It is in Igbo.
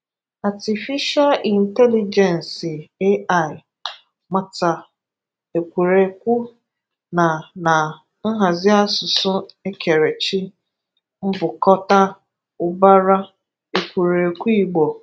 Atịfisha Ịntelịgensị (AI), màtà èkwúrèkwù nà nà nhàzị asụsụ̀ èkèrèchì, mbùkòtà ùbárà èkwúrèkwù Ìgbò.